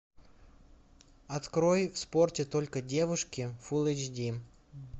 открой в спорте только девушки фул эйч ди